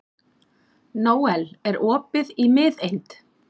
Nóel, er opið í Miðeind?